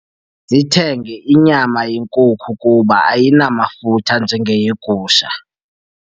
Masithenge inyama yenkuku kuba ayinamafutha njengeyegusha.